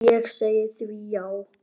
Ég segi því já.